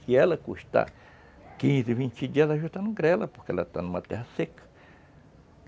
Se ela custar quinze, vinte dias, ela já está no grela, porque ela está numa terra seca.